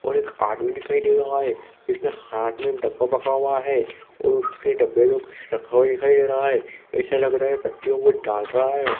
और एक आदमी दिखाई दे रहा है इसमें हाथ में डब्बा पकड़ा हुआ है और उसके डब्बे में कुछ रखा हुआ दिखाई दे रहा है ऐसा लग रहा है पत्तियों को डाल रहा है।